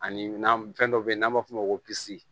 Ani na fɛn dɔ be yen n'an b'a f'o ma ko